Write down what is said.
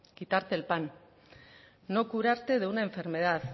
quitarte el pan no curarte de una enfermedad